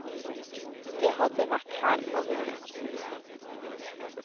De hadde vært her og vunnet.